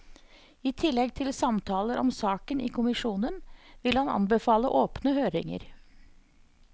I tillegg til samtaler om saken i kommisjonen, vil han anbefale åpne høringer.